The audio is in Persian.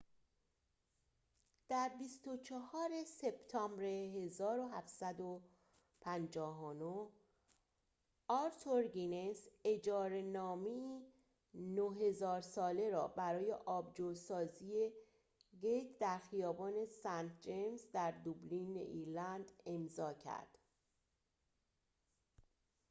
در ۲۴ سپتامبر ۱۷۵۹ آرتور گینس اجاره‌نامه‌ای ۹۰۰۰ ساله را برای آبجوسازی گیت در خیابان سنت جیمز در دوبلین ایرلند امضاء کرد